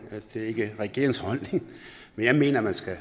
det er ikke regeringens holdning men jeg mener man skal